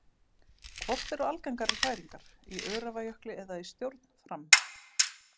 Hvort eru algengari hræringar, í Öræfajökli eða í stjórn Fram?